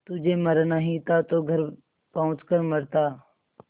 तुझे मरना ही था तो घर पहुँच कर मरता